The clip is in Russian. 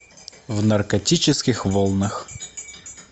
в наркотических волнах